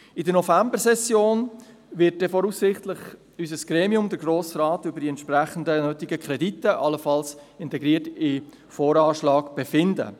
In der Novembersession wird voraussichtlich unser Gremium, der Grosse Rat, über die entsprechenden nötigen Kredite, allenfalls integriert in den Voranschlag, befinden.